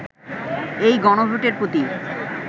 এই গণভোটের প্রতি